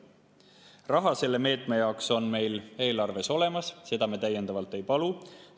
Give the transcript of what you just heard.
Raha selle meetme jaoks on meil eelarves olemas, seda me täiendavalt ei palu.